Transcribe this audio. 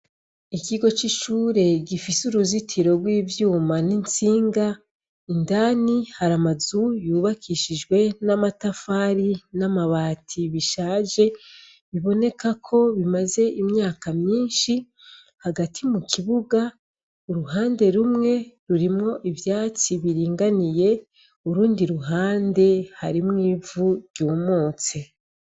Ikigo c'icure gifise uruzitiro rw'ivyuma n'intsinga indani hari amazu yubakishijwe n'amatafari n'amabati bishaje biboneka ko bimaze imyaka myinshi hagati mu kibuga uruhande rumwe rurimwo ivyatsi biringaniye urundi ruhande harimwo ivu ryumutse.